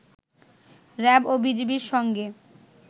RAB ও বিজিবির সঙ্গে